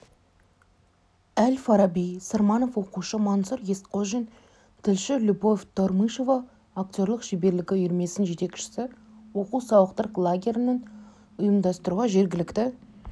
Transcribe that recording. әл-фараби сырманов оқушы мансұр есқожин тілші любовь тормышева актерлік шеберлігі үйірмесінің жетекшісі оқу-сауықтыру лагерін ұйымдастыруға жергілікті